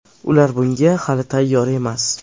Ular bunga hali tayyor emas.